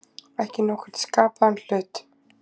Ekki nokkurn skapaðan hlut.